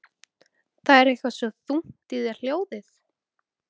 Það er eitthvað svo þungt í þér hljóðið.